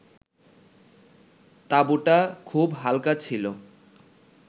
তাঁবুটা খুব হাল্কা ছিল